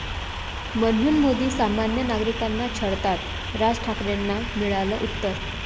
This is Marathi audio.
...म्हणून मोदी सामान्य नागरिकांना छळतात, राज ठाकरेंना मिळालं उत्तर